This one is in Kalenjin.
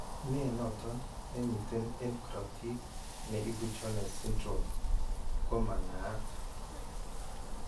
Ne noton, ne miten eng korotiik ne ibu Jones syndrome ko ma naat.